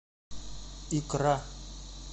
икра